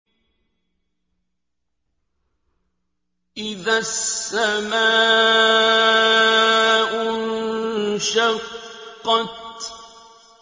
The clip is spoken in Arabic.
إِذَا السَّمَاءُ انشَقَّتْ